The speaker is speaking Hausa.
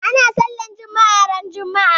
Ana sallar juma'a ran juma'a.